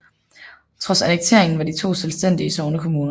Trods annekteringen var de to selvstændige sognekommuner